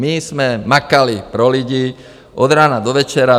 My jsme makali pro lidi od rána do večera.